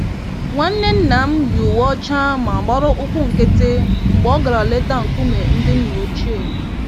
Nwanne nnam yi uwe ọcha ma gbara ụkwụ nkịtị mgbe ọ gara leta nkume ndị nna ochie